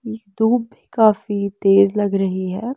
धूप काफी तेज लग रही है।